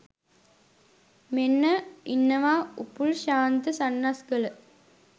මෙන්න ඉන්නවා උපුල් ශාන්ත සන්නස්ගල